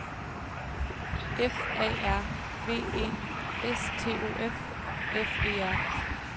F A R V E S T O F F E R